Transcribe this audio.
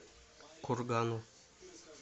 кургану